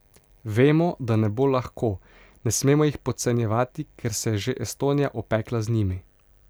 Vemo, da ne bo lahko, ne smemo jih podcenjevati, ker se je že Estonija opekla z njimi.